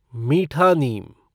मीठा नीम